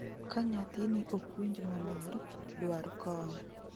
Ka nyathini ok winj maler, dwar kony